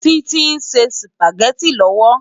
Titi nsé súpágètí lòwó